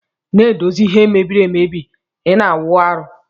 Na edozi ihe mebiri ebe ina awụ arụ.